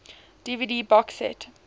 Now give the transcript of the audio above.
dvd box set